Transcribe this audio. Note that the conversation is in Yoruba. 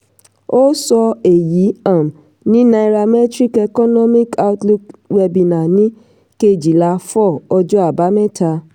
ó sọ èyí um ní nairametrics economic outlook webinar ní kéjìlá four ọjọ́ àbámẹ́ta.